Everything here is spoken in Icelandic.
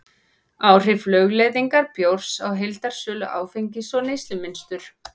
áhrif lögleiðingar bjórs á heildarsölu áfengis og neyslumynstur